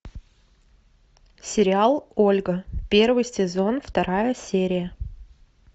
сериал ольга первый сезон вторая серия